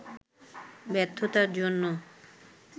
ব্যর্থতার জন্য